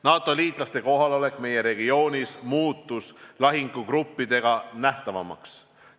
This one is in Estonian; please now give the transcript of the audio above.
NATO liitlaste kohalolek meie regioonis muutus lahingugruppide näol nähtavamaks.